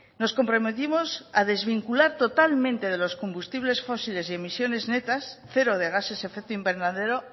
nos comprometimos a desvincular totalmente de los combustibles fósiles y emisiones netas cero de gases efecto invernadero